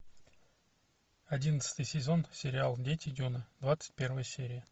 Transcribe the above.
одиннадцатый сезон сериал дети дюны двадцать первая серия